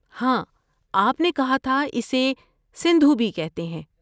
ہاں آپ نے کہا تھا اسے سندھو بھی کہتے ہیں۔